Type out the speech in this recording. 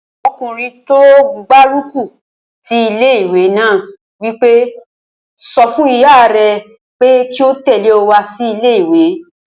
Ọkùnrin tó gbárùkù ti ilé-ìwé náà wí pé, "sọ fún ìyá rẹ pé kí ó tẹ̀lé ọ wá sí ilé-ìwé!"